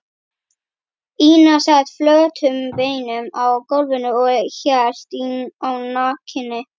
Ína sat flötum beinum á gólfinu og hélt á nakinni